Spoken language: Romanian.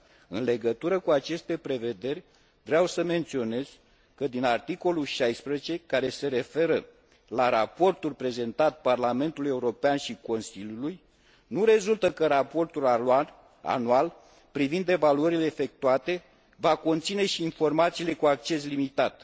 În legătură cu aceste prevederi, vreau să menționez că din articolul 16, care se referă la raportul prezentat Parlamentului European și Consiliului, nu rezultă că raportul anual privind evaluările efectuate va conține și informațiile cu acces limitat.